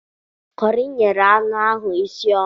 Kọri nyere anụ ahụ isi ọma